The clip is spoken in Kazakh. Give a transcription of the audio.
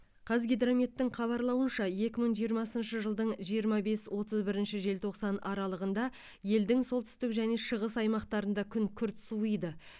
қазгидрометтің хабарлауынша екі мың жиырмасыншы жылдың жиырма бес отыз бірінші желтоқсан аралығында елдің солтүстік және шығым аймақтарында күн күрт суиды